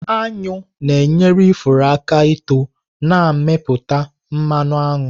Aṅụ na-enyere ifuru aka ító na-amịpụta mmanụ aṅụ.